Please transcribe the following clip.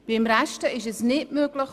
Beim Rest ist es nicht möglich.